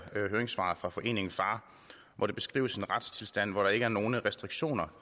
høringssvaret fra foreningen far hvor der beskrives en retstilstand hvor der ikke er nogen restriktioner